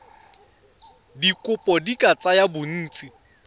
dikopo di ka tsaya bontsi